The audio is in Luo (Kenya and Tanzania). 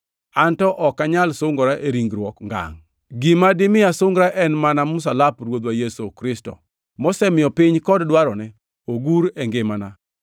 An to ok anyal sungora e ringruok ngangʼ. Gima dimi asungra en mana msalap Ruodhwa Yesu Kristo, mosemiyo piny kod dwarone ogur e ngimana.